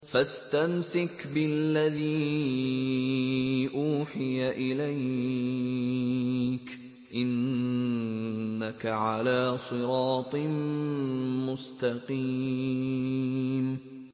فَاسْتَمْسِكْ بِالَّذِي أُوحِيَ إِلَيْكَ ۖ إِنَّكَ عَلَىٰ صِرَاطٍ مُّسْتَقِيمٍ